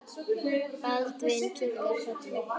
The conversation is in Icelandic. Baldvin kinkaði kolli.